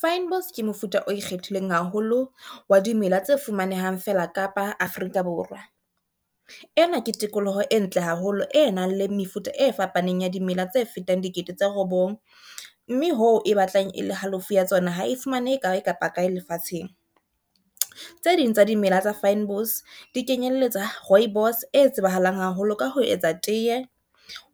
Fynbos ke mofuta o ikgethileng haholo wa dimela tse fumanehang fela Kapa Afrika Borwa. Ena ke tikoloho e ntle haholo e nang le mefuta e fapaneng ya dimela tse fetang dikete tse robong, mme ho e batlang e le halofo ya tsona ha e fumanehe kae kapa kae lefatsheng. Tse ding tsa dimela tsa fynbos di kenyelletsa rooibos e tsebahalang haholo ka ho etsa tiye,